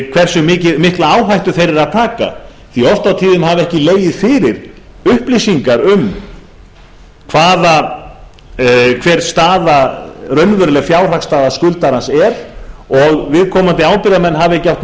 hversu mikla áhættu þeir eru að taka því að oft á tíðum hafa ekki legið fyrir upplýsingar um hver raunveruleg fjárhagsstaða skuldarans er og viðkomandi ábyrgðarmenn hafa ekki átt